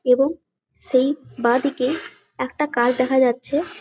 এবং সেই বাদিকেই একটা কাঠ দেখা যাচ্ছে ।